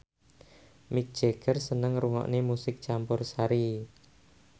Mick Jagger seneng ngrungokne musik campursari